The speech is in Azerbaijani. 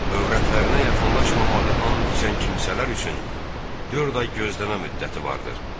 Övrətlərinə yaxınlaşmamağı and içən kimsələr üçün dörd ay gözləmə müddəti vardır.